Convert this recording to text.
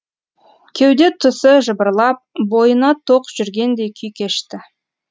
кеуде тұсы жыбырлап бойына тоқ жүргендей күй кешті